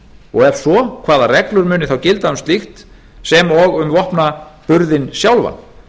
og ef svo hvaða reglur muni þá gilda um slíkt sem og um vopnaburðinn sjálfan